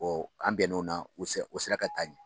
an bɛn n'o na o sera o sera ka taa ɲɛ.